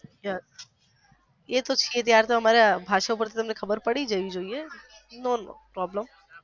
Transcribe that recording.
yes ત્યારે તો તમને અમારી ભાષા ઉપર થી તમને ખબર પડી જોવી જોયે no no no problem.